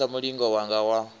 u phasa mulingo wanga wa